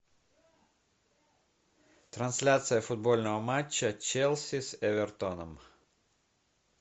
трансляция футбольного матча челси с эвертоном